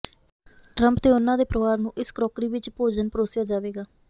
Trump ਤੇ ਉਨ੍ਹਾਂ ਦੇ ਪਰਿਵਾਰ ਨੂੰ ਇਸ ਕਰੌਕਰੀ ਵਿੱਚ ਭੋਜਨ ਪਰੋਸਿਆ ਜਾਵੇਗਾ